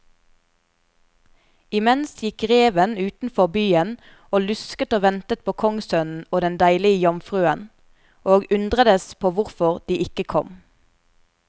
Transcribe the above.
Imens gikk reven utenfor byen og lusket og ventet på kongssønnen og den deilige jomfruen, og undredes på hvorfor de ikke kom.